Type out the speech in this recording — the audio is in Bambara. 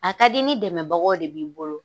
A ka deni dɛmɛbagaw de b'i bolo.